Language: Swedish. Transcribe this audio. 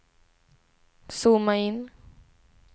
zooma in